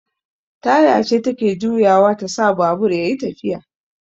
Taya ce take juyawa tasa babur yayi tafiya